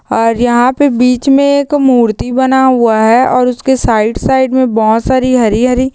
और यहाँ पे बिच मे एक मूर्ति बना हुआ है और उसके साइड साइड मैं बहुत साडी हरी हरी--